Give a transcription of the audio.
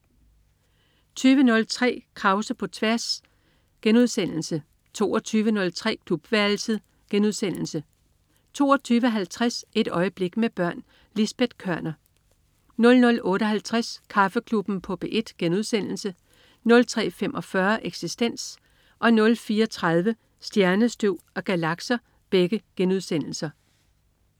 20.03 Krause på tværs* 22.03 Klubværelset* 22.50 Et øjeblik med børn. Lisbet Koerner 00.58 Kaffeklubben på P1* 03.45 Eksistens* 04.30 Stjernestøv og galakser 4:6*